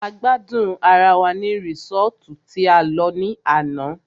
A gbádùn ará wá ní resọ́ọ́tu tí a lọ ní àná.